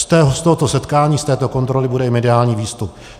Z tohoto setkání, z této kontroly bude mediální výstup.